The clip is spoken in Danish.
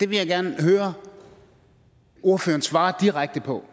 vil gerne høre ordføreren svare direkte på